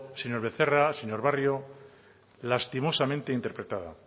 señor becerra señor barrio lastimosamente interpretada